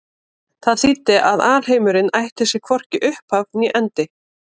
Það þýddi að alheimurinn ætti sér hvorki upphaf né endi.